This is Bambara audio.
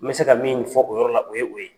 N bɛ se ka min fɔ o yɔrɔ la o ye o ye.